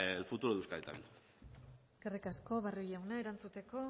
el futuro de euskadi también eskerrik asko barrio jauna erantzuteko